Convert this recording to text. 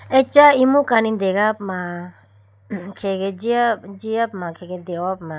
Acha imu kani degapuma khege jiyapuma khege dehopuma.